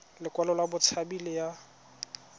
lekwalo la botshabi le ya